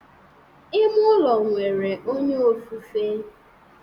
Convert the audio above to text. Ime ụlọ nwere onye ofufe